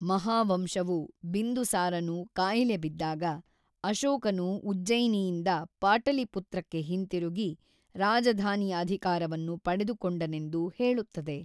ಮಹಾವಂಶವು ಬಿಂದುಸಾರನು ಕಾಯಿಲೆ ಬಿದ್ದಾಗ, ಅಶೋಕನು ಉಜ್ಜಯಿನಿಯಿಂದ ಪಾಟಲಿಪುತ್ರಕ್ಕೆ ಹಿಂತಿರುಗಿ ರಾಜಧಾನಿಯ ಅಧಿಕಾರವನ್ನು ಪಡೆದುಕೊಂಡನೆಂದು ಹೇಳುತ್ತದೆ.